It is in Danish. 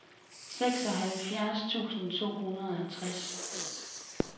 seksoghalvfjerds tusind to hundrede og tres